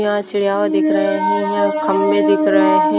यह सजाव दिख रहे हैं यह खंभे दिख रहे हैं।